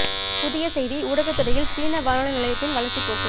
புதிய செய்தி ஊடகத் துறையில் சீன வானொலி நிலையத்தின் வளர்ச்சிப் போக்கு